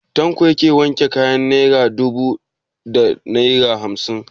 Tanko yake wanke kayan naira dubu da naira hamsin?